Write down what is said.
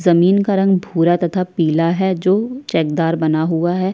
जमीन का रंग भूरा तथा पीला है जो चद्दर बना हुआ है।